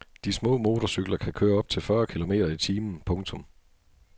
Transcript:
De små motorcykler kan køre op til fyrre kilometer i timen. punktum